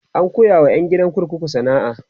an koya wa ƴan gidan kurkukun sana'a